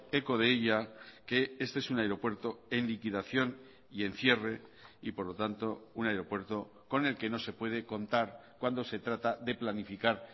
eco de ella que este es un aeropuerto en liquidación y en cierre y por lo tanto un aeropuerto con el que no se puede contar cuando se trata de planificar